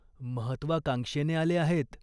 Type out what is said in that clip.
महत्त्वाकांक्षेने आले आहेत.